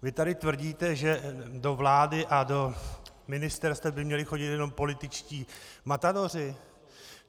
Vy tady tvrdíte, že do vlády a do ministerstev by měli chodit jenom političtí matadoři?